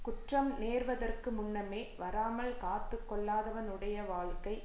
குற்றம் நேர்வதற்கு முன்னமே வராமல் காத்து கொள்ளாதவனுடைய வாழ்க்கை